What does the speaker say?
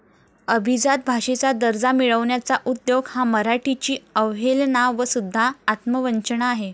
अभिजात भाषेचा दर्जा मिळवण्याचा उद्योग हा मराठीची अवहेलना व सुद्धा आत्मवंचना आहे.